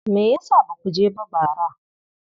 Me ya sa ba ku je ba bara?